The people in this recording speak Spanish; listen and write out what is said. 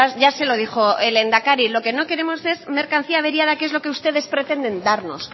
ya se lo dijo el lehendakari lo que no queremos es mercancía averiada que es lo que ustedes pretenden darnos